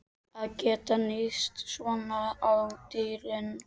Að geta níðst svona á dýrinu.